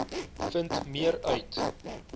vind meer uit